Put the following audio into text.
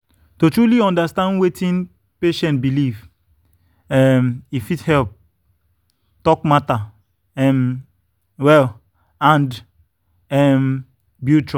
to truly understand understand wetin patient believe um e fit help talk matter um well and um build trust.